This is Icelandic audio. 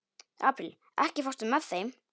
Apríl, ekki fórstu með þeim?